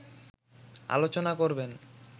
আলোচনা করবেন